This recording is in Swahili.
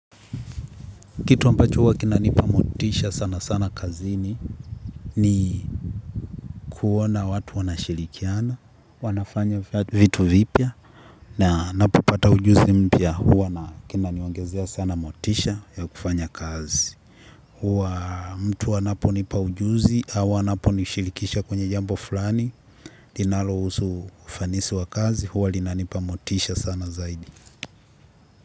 Kitu ambacho huwa kinanipa motisha sana sana kazini kuona watu wanashirikiana, wanafanya vitu vipya. Na napopata ujuzi mpya huwa na kinaniongezea sana motisha ya kufanya kazi. Huwa mtu anaponipa ujuzi, au anaponishirikisha kwenye jambo fulani, linalohusu ufanisi wa kazi, huwa linanipamotisha sana zaidi.